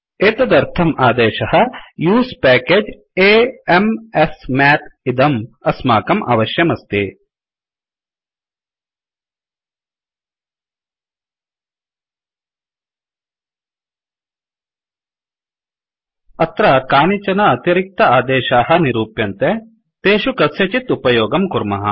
एतदर्थं आदेशः उसे packageयूस् पेकेज् a m s मथ इदं अस्माकं अवश्यमस्ति अत्र कानिचन अतिरिक्त आदेशाः निरूप्यन्ते तेषु कस्यचित् उपयोगं कुर्मः